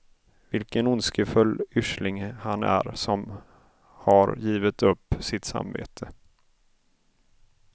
Vilken ondskefull usling han är som har givit upp sitt samvete.